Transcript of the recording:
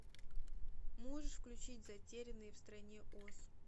можешь включить затерянные в стране оз